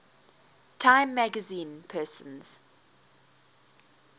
time magazine persons